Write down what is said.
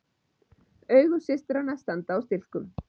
Augu systranna standa á stilkum.